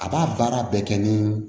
A b'a baara bɛɛ kɛ ni